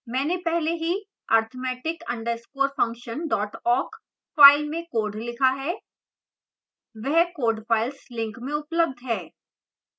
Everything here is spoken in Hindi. मैंने पहले ही arithmetic underscore function dot awk file में code लिखा है वह code files लिंक में उपलब्ध है